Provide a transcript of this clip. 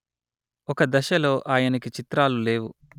ఒక దశలో ఆయనకి చిత్రాలు లేవు